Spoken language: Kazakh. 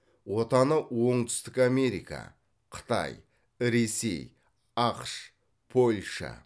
отаны оңтүстік америка қытай ресей ақш польша